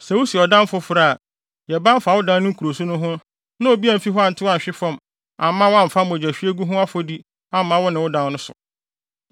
Sɛ wusi ɔdan foforo a, yɛ ban fa wo dan no nkuruso no ho na obi amfi hɔ antew anhwe amma woamfa mogyahwiegu ho afɔdi amma wo ne wo dan no so.